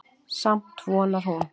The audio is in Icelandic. Samt vonar hún.